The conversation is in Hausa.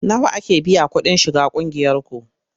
Nawa ake biya kuɗin shiga ƙungiyarku?